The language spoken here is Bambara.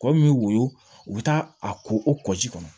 Kɔ min bɛ woyo u bɛ taa a ko o kɔ ji kɔnɔ